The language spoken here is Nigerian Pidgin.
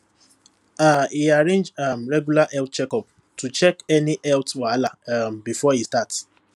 um e arrange um regular health checkups to catch any health wahala um before e start